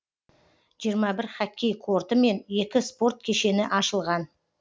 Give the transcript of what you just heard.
жиырма бір хоккей корты мен екі спорт кешені ашылған